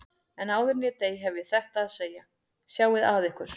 En áður en ég dey hef ég þetta að segja: Sjáið að ykkur.